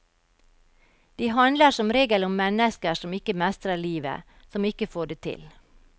De handler som regel om mennesker som ikke mestrer livet, som ikke får det til.